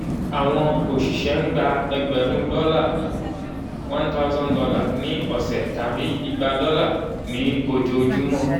àwọn òṣìṣẹ́ ń gba ẹgbẹ̀rún dọ́là one thousand dollar ní ọ̀sẹ̀ tàbí igba dọ́là ní ojoojúmọ́